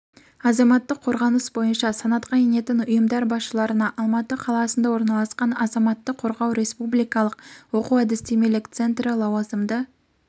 азаматтық қорғаныс бойынша санатқа енетін ұйымдар басшыларына алматы қаласында орналасқан азаматтық қорғау республикалық оқу-әдістемелік центрі лауазымды